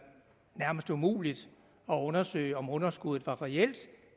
nærmest umuligt at undersøge om underskuddet var reelt